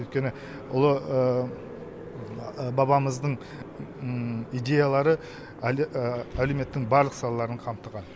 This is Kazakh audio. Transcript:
өйткені ұлы бабамыздың идеялары әлеуметтің барлық салаларын қамтыған